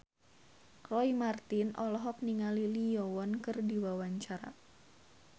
Roy Marten olohok ningali Lee Yo Won keur diwawancara